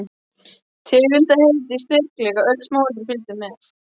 Tegundarheiti, styrkleiki, öll smáatriði fylgdu með.